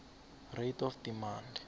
rate of demand